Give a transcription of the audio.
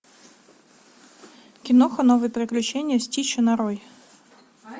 киноха новые приключения стича нарой